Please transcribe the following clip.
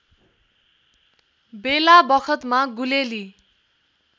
बेलाबखतमा गुलेली